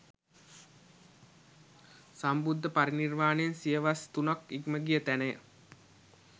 සම්බුද්ධ පරිනිර්වාණයෙන් සියවස් තුනක් ඉක්ම ගිය තැනය.